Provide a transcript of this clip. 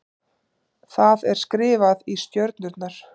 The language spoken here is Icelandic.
Það er skrifað í stjörnurnar.